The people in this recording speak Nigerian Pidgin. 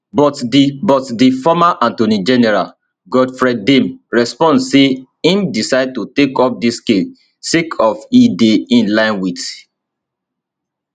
but di but di former attorney general godfred dame respond say im decide to take up dis case sake of e dey in line wit